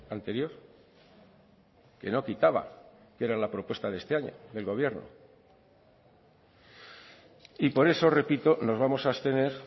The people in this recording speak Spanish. anterior que no quitaba que era la propuesta de este año del gobierno y por eso repito nos vamos a abstener